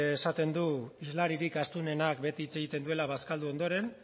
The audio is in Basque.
esaten du hizlaririk astunenak beti hitz egiten duela bazkaldu ondoren